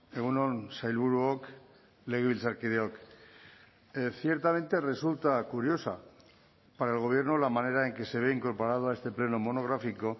egun on sailburuok legebiltzarkideok ciertamente resulta curiosa para el gobierno la manera en que se ve incorporado a este pleno monográfico